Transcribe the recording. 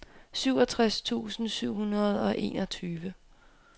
syvogtres tusind syv hundrede og enogtyve